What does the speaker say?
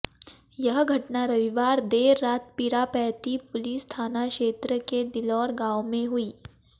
यह घटना रविवार देर रात पिरापैंती पुलिस थाना क्षेत्र के दिलौर गांव में हुई